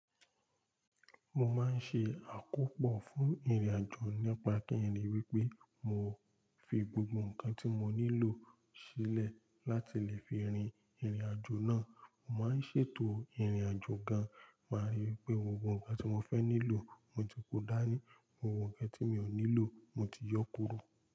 Mo máa ń ṣe àkópọ̀ fún ìrìn-àjò nípa kí n ríi wí pé mo fi gbogbo ǹkan tí mo nílò sílẹ̀ láti lè fi rìn ìrìn-àjò náà. Mo máa ń ṣètò ìrìn-àjò gan, màá rí wipé gbogbo ǹkan tí mo fẹ́ nílò mo ti kó dání, gbogbo ǹkan tí mi ò nílò mo ti yọ́ kúrò.